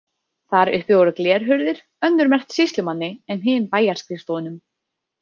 Þar uppi voru glerhurðir, önnur merkt sýslumanni en hin bæjarskrifstofunum.